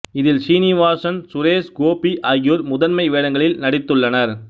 இதில் சீனிவாசன் சுரேஷ் கோபி ஆகியோர் முதன்மை வேடங்களில் நடித்துள்ளனர்